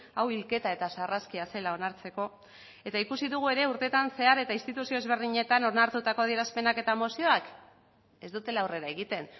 hau hilketa eta sarraskia zela onartzeko eta ikusi dugu ere urtetan zehar eta instituzio ezberdinetan onartutako adierazpenak eta mozioak ez dutela aurrera egiten